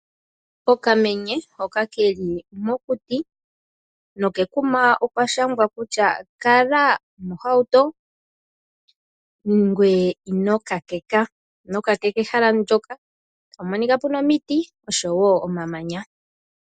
Okamenye hoka keli mokuti, nokekuma okwashangwa kutya kala mohauto Ngweye ino nyateka ehala nlyoka, otapu monika puna omiti noshowoo oma manya.